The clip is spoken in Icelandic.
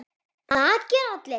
Það gera allir.